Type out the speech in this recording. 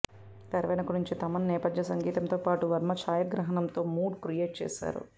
తెరవెనుక నుంచి తమన్ నేపథ్య సంగీతంతో పాటు వర్మ ఛాయాగ్రహణంతో మూడ్ క్రియేట్ చేసారు